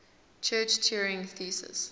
church turing thesis